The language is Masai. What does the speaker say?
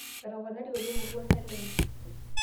etoponari oleng orwuasa lenye